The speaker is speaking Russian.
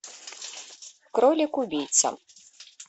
кролик убийца